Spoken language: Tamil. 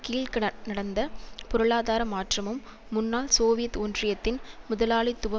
கீழிக நடந்த பொருளாதார மாற்றமும் முன்னாள் சோவியத் ஒன்றியத்தின் முதலாளித்துவ